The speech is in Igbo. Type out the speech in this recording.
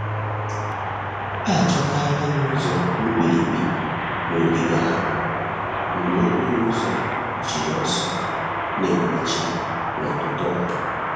Achọtala m ụzọ mkpirikpi n’ogige ahụ mgbe okporo ụzọ jiri ọsọ na-emechi n’ụtụtụ a.